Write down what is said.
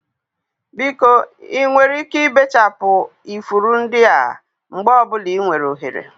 Biko ị nwere ike ibechapụ ifuru ndị a mgbe ọ bụla ị nwere ohere?